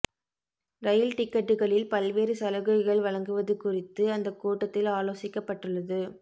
ரயில் டிக்கெட்டுகளில் பல்வேறு சலுகைகள் வழங்குவது குறித்து அந்த கூட்டத்தில் ஆலோசிக்கப்பட்டுள்ளது